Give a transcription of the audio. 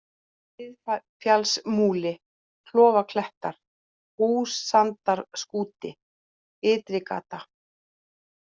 Miðfjallsmúli, Klofaklettar, Húsandarskúti, Ytrigata